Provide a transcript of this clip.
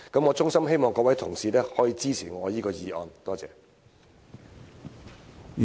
我衷心希望各位同事支持我的議案，多謝。